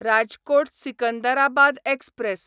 Rajkot Secunderabad express